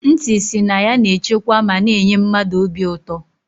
Nti si na ya na echekwa ma na -enye mmadụ obi ụtọ.